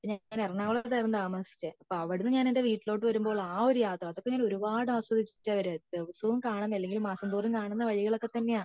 ഞാൻ എറണാകുളത്താണ് താമസിച്ചേ അപ്പൊ അവിടെ നിന്ന് ഞാൻ എന്റെ വീട്ടിലോട്ട് വരുമ്പോ അഹ് ഒരു യാത്ര അതൊക്കെ ഞാൻ ഒരുപാട് ആസ്വദിച്ച വരാറ് ദിവസവും കാണുന്ന അല്ലെങ്കിൽ മാസം തോറും കാണുന്ന വഴികൾ ഒക്കെ തന്നെയാ